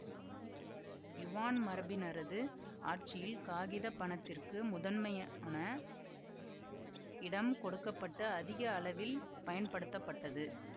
Yuan மரபினரது ஆட்சியில் காகித பணத்திற்கு முதன்மையான இடம் கொடுக்க பட்டு அதிக அளவில் பயன்படுத்தப்பட்டது